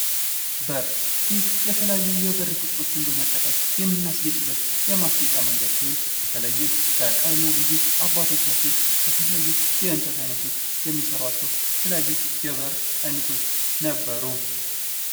በር ይህ የተለያዩ የበር ፅቅርጾችን በመጠቀም የምናስጌጥበት የማስጌጫ መንገድ ሲሆን ይህም በተለይም በቀድሞ ጊዜ አባቶችን ከተለያዩ እንጨቶች የሚሰሯቸው የበር አይነቶች ነበሩ።